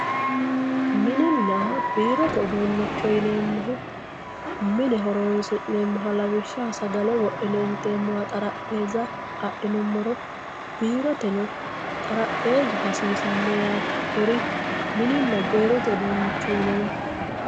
Mininna birote udunicho yinemohu Minne hooronsinemohi lawishaho sagalle wodhine intemoha xarapheza adhinumoro biroteno xaraphezu hasisano yatte kuurri mininna birote udunicho yinemo